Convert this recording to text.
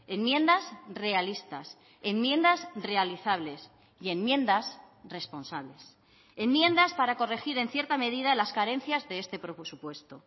enmiendas realistas enmiendas realizables y enmiendas responsables enmiendas para corregir en cierta medida las carencias de este presupuesto